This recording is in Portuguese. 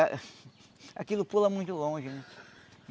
Aquilo pula muito longe, né?